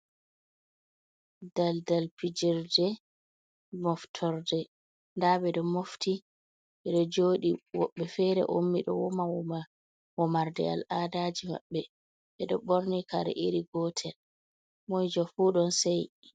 Daldal fijerde moftorde da bedo mofti bedo jodi wobbe fere ommi do woma woma womarde al adaji mabbe bedo borni kare iri gotel komoijo fu don sei